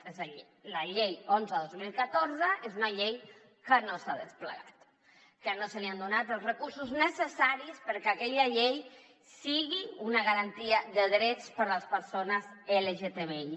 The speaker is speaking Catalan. és a dir la llei onze dos mil catorze és una llei que no s’ha desplegat que no se li han donat els recursos necessaris perquè aquella llei sigui una garantia de drets per a les persones lgtbi